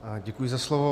Děkuji za slovo.